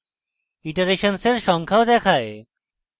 ইটারেশন্সের সংখ্যাও দেখায়